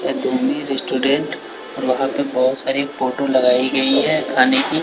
Restaurant और वहां पे बहोत सारी फोटो लगाई गई है खाने की।